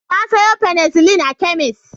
Na sayo penecillin a kemis.